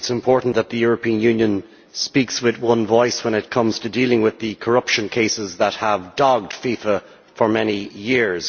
I think it is important that the European Union speaks with one voice when it comes to dealing with the corruption cases that have dogged FIFA for many years.